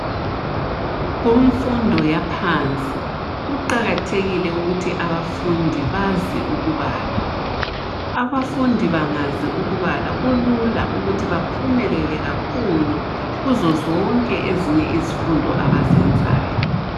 Kumfundo yaphansi kuqakathekile ukuthi abafundi bazi ukubala. Abafundi bangazi ukubala kulula ukuthi baphumelele kakhulu kuzo zonke ezinye izifundo abazenzayo.